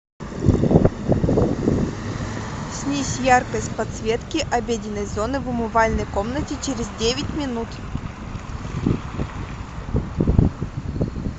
снизь яркость подсветки обеденной зоны в умывальной комнате через девять минут